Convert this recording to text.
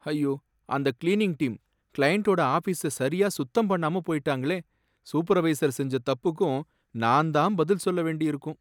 ஐயோ, அந்த cleaning team கிளையன்டோட ஆஃபீஸ சரியா சுத்தம் பண்ணாம போயிட்டாங்களே, சூப்பர்வைசர் செஞ்ச தப்புக்கும் நான் தான் பதில் சொல்ல வேண்டியிருக்கும்.